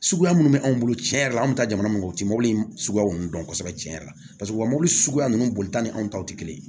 Suguya minnu bɛ anw bolo tiɲɛ yɛrɛ la an bɛ taa jamana min kɔnɔ u tɛ mobili suguya ninnu dɔn kosɛbɛ tiɲɛ yɛrɛ la paseke u ka mɔbili suguya ninnu bolita ni anw taw tɛ kelen ye